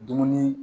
Dumuni